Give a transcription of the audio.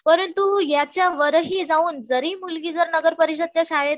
परंतु याच्या वर ही जाऊन जर मुलगी नगर परिषदेच्या शाळेत